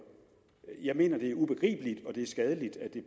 jeg mener det og skadeligt at det